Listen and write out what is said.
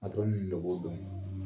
ninnu de b'o dɔn